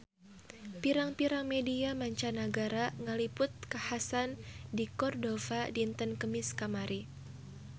Pirang-pirang media mancanagara ngaliput kakhasan di Cordova dinten Kemis kamari